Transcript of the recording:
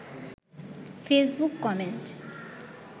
Facebook comment